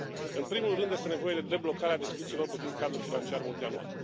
În primul rând, este nevoie de deblocarea discuțiilor privind cadrul financiar multianual.